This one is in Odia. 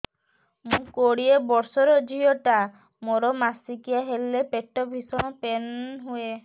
ମୁ କୋଡ଼ିଏ ବର୍ଷର ଝିଅ ଟା ମୋର ମାସିକିଆ ହେଲେ ପେଟ ଭୀଷଣ ପେନ ହୁଏ